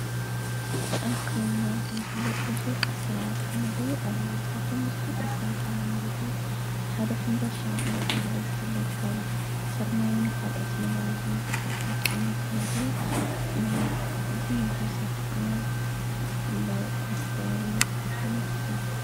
ኣብ ከባቢና ከምዝፍለጥ ብዙሕ ኣሠራርሓ ምግቢ ኣለዉ፡፡ ካብቶም ብዙሓት ኣሠራሓ ምግብታት ሓደ ሕምባሻ እንዳ ተባህለ ዝፍለጥ ካብ ስርናይን ካልኦት ነገራትን ዝስራሕ ዓይነት ምግቢ እዩ፡፡ እዚ ምግቢ ዚ ኸዓ ብፍላይ ኣብ ከባቢ ኣክሱም ይዝውተር፡፡